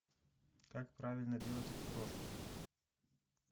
как правильно делать окрошку